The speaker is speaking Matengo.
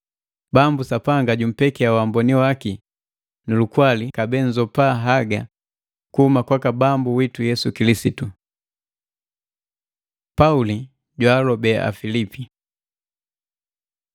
Bambu Sapanga jumpekia waamboni waki nu lukwali kabee nzopa haga kuhuma kwaka Bambu witu Yesu Kilisitu. Pauli jwaalobe Apilipi